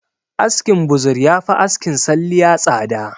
Askin buzur yafi askin salliya tsada